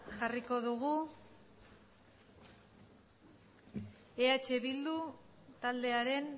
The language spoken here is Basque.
jarriko dugu eh bildu taldearen